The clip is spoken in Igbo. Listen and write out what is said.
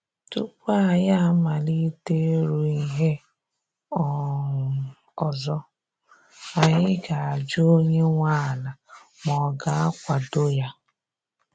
Tupu anyi amalite ịrụ ihe um ọzọ, anyị ga ajụ onye nwe ala ma ọ ga-akwado ya